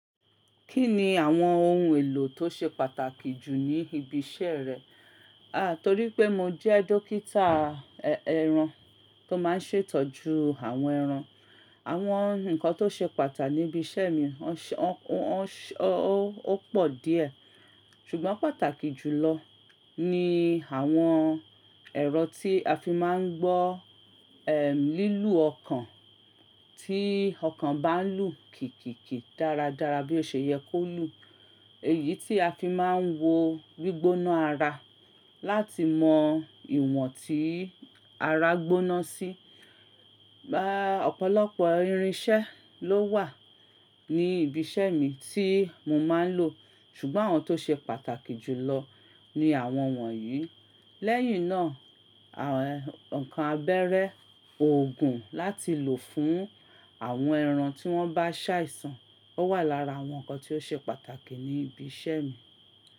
Kí ni àwọn ohun èlò tó ṣe pàtàkì jù ní ibi iṣẹ́ rẹ? A torí pé mo jẹ́ dókítà ẹran tó máa ń ṣètọ́jú àwọn ẹran, àwọn nǹkan tó ṣe pàtà níbi iṣẹ́ mi ó pọ̀ díẹ̀ ṣùgbọ́n pàtàkì jùlọ ni àwọn ẹ̀rọ tí a fi máa ń gbọ́, ehn, lílù ọkàn tí ọkàn bá ń lù kìkìkì dáradára bí ó ṣe yẹ kó lù. Èyí tí a fi máa ń wo gbígbóná ara láti mọ ìwọ̀n tí ara gbóná sí. Bá, ọ̀pọ̀lọpọ̀ irinṣẹ́ ló wà ní ibi iṣẹ́ mi tí mo máa ń lò ṣùgbọ́n àwọn tó ṣe pàtàkì jùlọ ni àwọn wọ̀nyí. Lẹ́yìn náà, àwọn nǹkan abẹ́rẹ́ òògùn láti lò fún àwọn ẹran tí wọ́n bá ṣàìsàn ó wà lára àwọn nǹkan tó ṣe pàtàkì ní ibi iṣẹ́ mi.